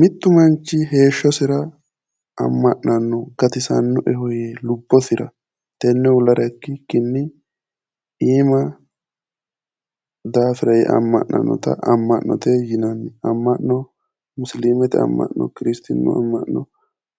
Mittu manchi heeshshosira amma'nanno gatisannoeho yee lubbosira tenne uullara ikkikinni iima daarira yee amma'nannota amma'no yinanni. amma'no musiliimete amma'no kiristaanu amma'no